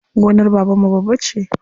Gonar babanmu babba ce.